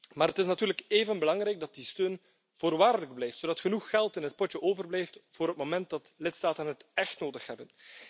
Maar het is natuurlijk even belangrijk dat die steun voorwaardelijk blijft, zodat genoeg geld in het potje overblijft voor het moment dat lidstaten het echt nodig hebben.